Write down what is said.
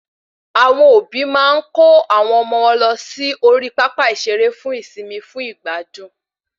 Àwọn òbí máa ń kò awọn ọmọ wọn lọ sí orí pápá ìsere fún ìsimi fún ìgbádùn